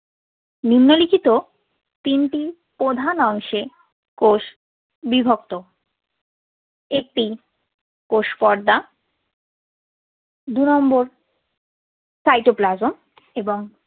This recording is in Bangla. নিন্মলিখিত তিনটি প্রধান অংশে কোষ বিভক্ত। একটি কোষ পর্দা। দু number cytoplasm ।